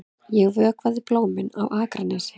Ég vökvaði blómin á Akranesi.